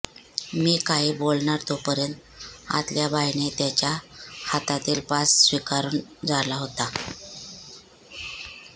मी काही बोलणार तोपर्यंत आतल्या बाईने त्याच्या हात हातातील पास स्विकारून झाला होता